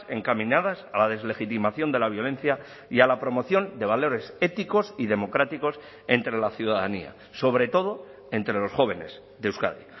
encaminadas a la deslegitimación de la violencia y a la promoción de valores éticos y democráticos entre la ciudadanía sobre todo entre los jóvenes de euskadi